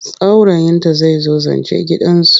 Saurayinta zai zo zance gidansu.